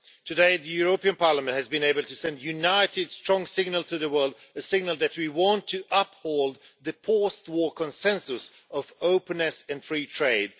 Today, the European Parliament has been able to send a united strong signal to the world, a signal that we want to uphold the post war consensus of openness and free trade.